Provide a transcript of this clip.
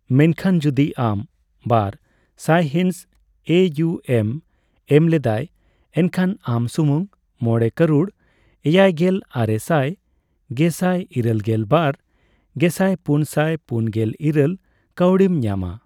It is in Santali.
ᱢᱮᱱᱠᱷᱟᱱ ᱡᱚᱫᱤ ᱟᱢ ᱵᱟᱨ ᱥᱟᱭᱦᱤᱸᱥ ᱮᱹᱤᱭᱩᱹᱮᱢ ᱮᱢ ᱞᱮᱫᱟᱭ, ᱮᱱᱠᱷᱟᱱ ᱟᱢ ᱥᱩᱢᱩᱝ ᱕ ᱢᱚᱲᱮ ᱠᱟᱹᱨᱩᱲ ,ᱮᱭᱟᱭᱜᱮᱞ ᱟᱨᱮ ᱥᱟᱭ ᱜᱮᱥᱟᱭ ,ᱤᱨᱟᱹᱞᱜᱮᱞ ᱵᱟᱨ ᱜᱮᱥᱟᱭ ,ᱯᱩᱱ ᱥᱟᱭ ᱯᱩᱱᱜᱮᱞ ᱤᱨᱟᱹᱞ ᱠᱟᱣᱰᱤᱢ ᱧᱟᱢᱟ ᱾